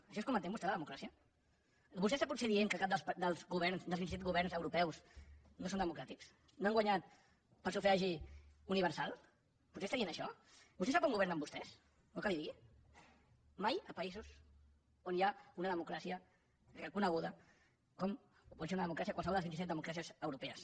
així és com entén vostè la democràcia vostè està potser dient que cap dels governs dels vint i set governs europeus no són democràtics no han guanyat per sufragi universal potser està dient això vostè sap on governen vostès vol que li ho digui mai a països on hi ha una democràcia reconeguda com pot ser una democràcia com qualsevol de les vint i set democràcies europees